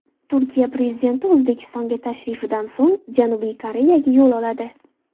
Turkiya prezidenti O‘zbekistonga tashrifidan so‘ng Janubiy Koreyaga yo‘l oladi.